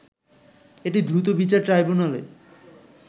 এটি দ্রুত বিচার ট্রাইব্যুনালে